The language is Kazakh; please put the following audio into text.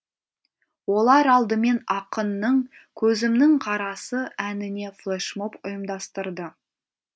олар алдымен ақынның көзімнің қарасы әніне флешмоб ұйымдастырды